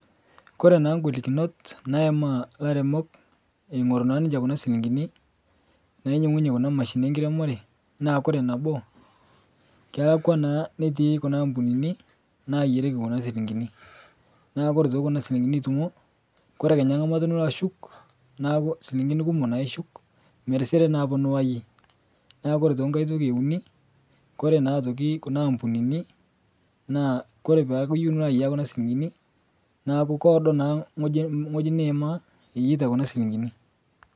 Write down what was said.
Kore naa ng'holikinot naimaa lairemok eing'oruu naa ninshee Kuna silinkinii nainyeng'unye Kuna mashininii enkiremoree naa Kore naboo, kelakwaa naa netii Kuna ampunini nayerieki Kuna silinkinii, naa Kore otoki Kuna silinkinii itumoo Kore Kenya ng'amata Niko ashuk Naaku silinkinii kumoo naa ishuk meriseree naapa niwaa yie naa Kore otoki ng'hai toki euni Kore naa otokii Kuna ampunini naa Kore peaku iyeu nilo aiyaa kuna silinkinii naaku Koodo naa ng'hojii niima iyeita kuna silinkini.